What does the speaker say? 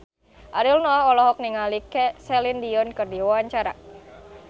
Ariel Noah olohok ningali Celine Dion keur diwawancara